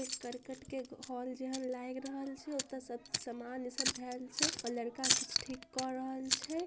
एक कर्कट क घर जेहन लाग रहल छे। ओता सब सामान ई सब देल छे। आ लड़का सब ठीक कर रहल छे।